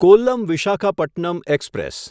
Kollam Visakhapatnam express